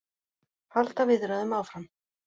Halda viðræðum áfram